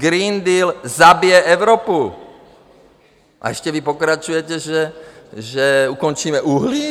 Green Deal zabije Evropu, a vy ještě pokračujete, že ukončíme uhlí?